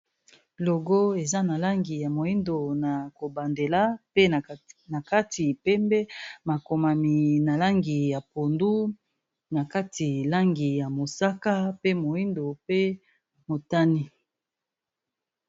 Logo eza na langi ya moindo na kobandela pe na kati pembe makomami na langi ya pondu na kati langi ya mosaka pe moindo pe motani.